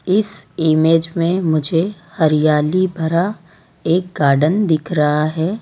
इस इमेज में मुझे हरियाली भरा एक गार्डन दिख रहा है।